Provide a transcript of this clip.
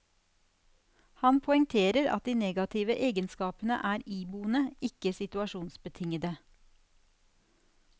Han poengterer at de negative egenskapene er iboende, ikke situasjonsbetingede.